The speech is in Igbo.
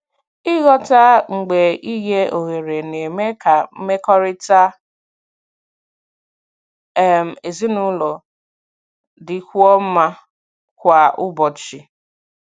Ịghọta mgbe inye ohere na-eme ka mmekọrịta um ezinụlọ dịkwuo mma kwa ụbọchị.